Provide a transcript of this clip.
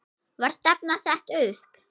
Var stefnan sett upp?